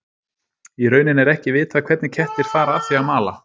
í rauninni er ekki vitað hvernig kettir fara að því að að mala